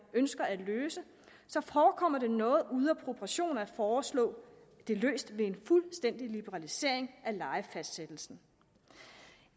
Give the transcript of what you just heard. ønsker at løse så forekommer det noget ude af proportioner at foreslå det løst ved en fuldstændig liberalisering af lejefastsættelsen